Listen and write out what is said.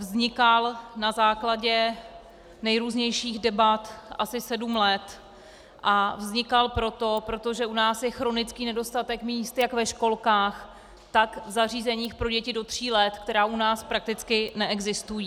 Vznikal na základě nejrůznějších debat asi sedm let a vznikal proto, protože u nás je chronický nedostatek míst jak ve školkách, tak v zařízeních pro děti do tří let, která u nás prakticky neexistují.